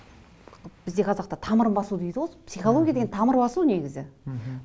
бізде қазақта тамырын басу дейді ғой психология деген тамыр басу негізі мхм